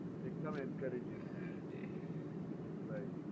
એકદમ encouraging right